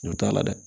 N'o t'a la dɛ